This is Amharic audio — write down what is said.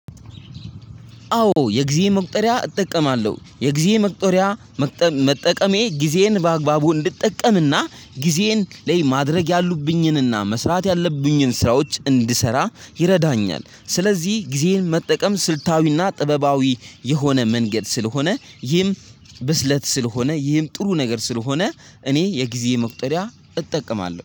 አዎ የጊዜ መቁጠሪያ እጠቀማለሁ የጊዜ መቁጠሪያ መጠቀሜ ጊዜዬን በአግባቡ እንድጠቀምና ጊዜዬን ላይ ማድረግ ያሉብኝንና መስራት ያለብኝን ስራዎች እንድሰራ ይረዳኛል። ስለዚህ ጊዜን መጠቀም ስልታዊና ጥበባዊ የሆነ መንገድ ስለሆነ ይህም ብስለት ስለሆነ ይህም ጥሩ ነገር ስለሆነ እኔ የጊዜ መቁጠሪያ እጠቀማለሁ